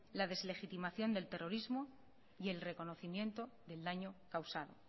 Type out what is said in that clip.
la deslegitimación del terrorismo y el reconocimiento del daño causado